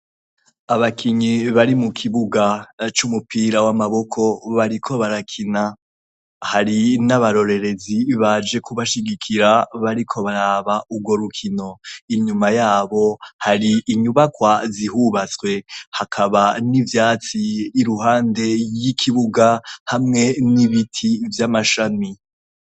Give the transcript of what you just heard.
Abakinyi bari mu kibuga c'umupira w'amaboko, bariko barakina. Hari n'abarorerezi baje kubashigikira, bariko baraba urwo rukino. Inyuma yabo, hari inyubakwa zihubatswe, hakaba n'ivyatsi iruhande y'ikibuga, hamwe n'ibiti vy'amashami.